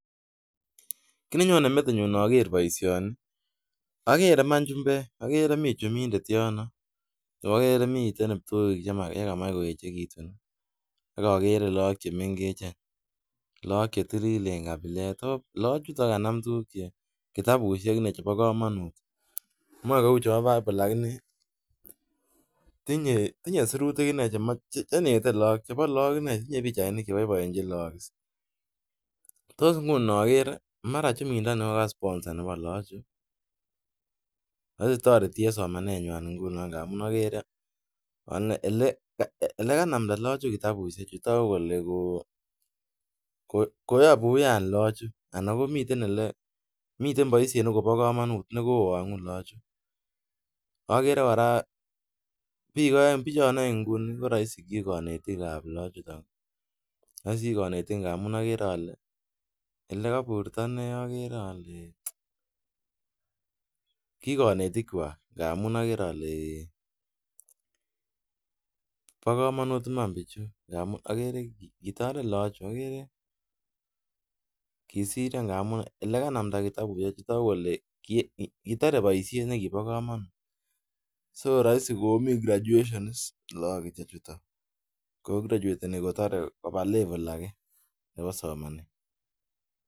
Kitnenyone metinyun inoker boisioni agere iman chumbek. Agere mi chumbindet yono ago agere mi kiptoik che kamach koechekitun ak agere look che mengechen. Look che tililen kapilet. Loochuto ko kanam kitabusiek inne chebo kamanut. Moe kuo chebo Bibol lakini tinye sirutik inne chenete chebo look inne. Tinye pichainik che boiboenchin look. Tos inguni noger mara chumindoni ko ka sponsor nebo lagochu, raisi toreti en somanenywan ingunon ngamun agere elekanamnda loochu kitabusiechu, tagu kole koyabu wiyan lagocho ana komiten ele, miten boisiet nekobo kamanut nekowangu lagochu. Agere kora biik aeng. Biichon aeng nguni ko raisi ki kanetikab loochuton. Raisi ki konetik ngamun agere ale elekaburto inne agere ale thhhi! ki konetik kwak ngamun agere ale bokamanut iman biichu agere kitaret lagochu. Kisiryo ngamun olekanamnda kitabusiechu kotagu kole kitare boisiet nekibo kamanut. So raisi komi graduation is loochutetan. Kograchuateni kotore koba level age nebo simanet.